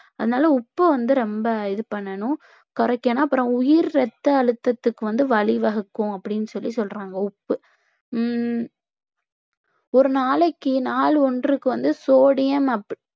அதனால உப்பு வந்து ரொம்ப இது பண்ணணும் குறைக்கணும் அப்புறம் உயர் இரத்தஅழுத்தத்துக்கு வந்து வழி வகுக்கும் அப்பிடின்னு சொல்லி சொல்றாங்க உப்பு உம் ஒரு நாளைக்கு நாள் ஒன்றுக்கு வந்து sodium